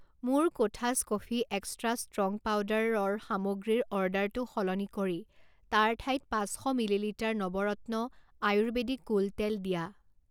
মোৰ কোঠাছ coffee extra strong powder ৰ সামগ্ৰীৰ অৰ্ডাৰটো সলনি কৰি তাৰ ঠাইত পাঁচ শ millilitre Navratna Ayurvedic cool তেল দিয়া।